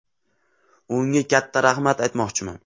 Unga katta rahmat aytmoqchiman.